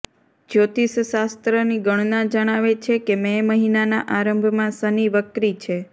જ્યોતિષશાસ્ત્રની ગણના જણાવે છે કે મે મહિનાના આરંભમાં શનિ વક્રી છે